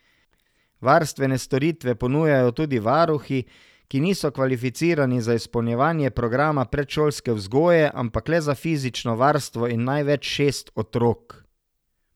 Varstvene storitve ponujajo tudi varuhi, ki niso kvalificirani za izpolnjevanje programa predšolske vzgoje, ampak le za fizično varstvo in največ šest otrok.